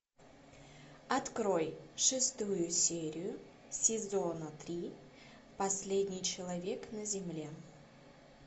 открой шестую серию сезона три последний человек на земле